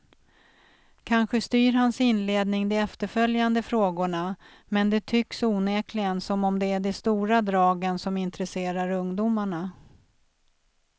Kanske styr hans inledning de efterföljande frågorna, men det tycks onekligen som om det är de stora dragen som intresserar ungdomarna.